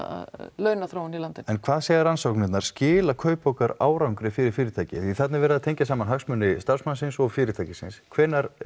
launaþróun í landinu en hvað segja rannsóknirnar skila kaupaukar árangri fyrir fyrirtæki því þarna er verið að tengja saman hagsmuni starfsmannsins og fyrirtækisins hvenær